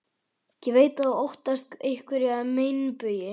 Ég veit að þú óttast einhverja meinbugi.